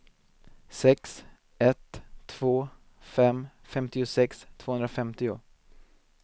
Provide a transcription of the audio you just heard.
sex ett två fem femtiosex tvåhundrafemtio